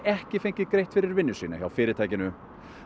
ekki fengið greitt fyrir vinnu sína hjá fyrirtækinu